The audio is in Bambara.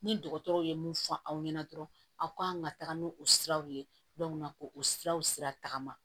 Ni dɔgɔtɔrɔw ye mun fɔ aw ɲɛna dɔrɔn aw kan ka taga ni o siraw ye k'u u siraw sira tagama